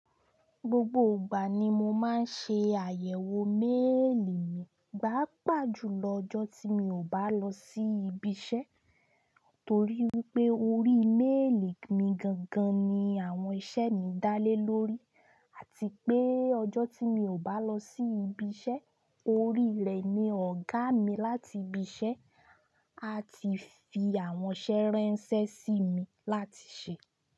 Gbogbo ìgbà ni mo máa ń ṣe àyẹ̀wò méèlì mi, paapa ju lọ ọjọ́ tí mi ò bá lọ sí ibi iṣẹ́, torí wípé orí méèlì mi gangan ni àwọn iṣẹ́ mi dá lé lórí àti pé ọjọ́ tí mi ò bá lọ sí ibi iṣẹ́, orí rẹ̀ ni ọ̀gá mi láti ibi iṣẹ́ a ti fi àwọn iṣẹ́ ránṣẹ́ sí mi láti ṣe.